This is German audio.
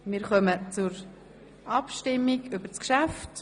Wir kommen zur Abstimmung über das Geschäft.